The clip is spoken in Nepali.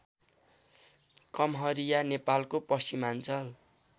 कम्हरिया नेपालको पश्चिमाञ्चल